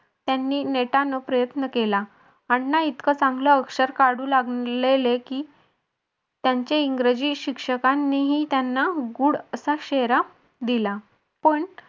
त्यांनी नेटान प्रयत्न केला अण्णा इतक चांगले अक्षर काढू लागलेली की त्यांचे इंग्रजी शिक्षकांनीही त्यांना गुड असा शेरा दिला. पण